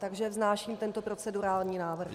Takže vznáším tento procedurální návrh.